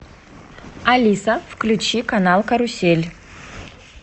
алиса включи канал карусель